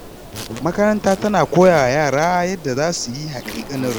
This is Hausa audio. Makaranta tana koya wa yara yadda za su yi haƙiƙanin rayuwa.